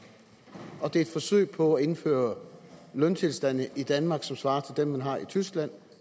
og den er et forsøg på at indføre løntilstande i danmark som svarer til dem man har i tyskland